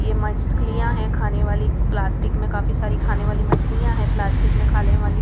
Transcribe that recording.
ये मछलियां है खाने वाली प्लास्टिक में काफी सारी खाने वाली मछलियां है प्लास्टिक में खाने वाली--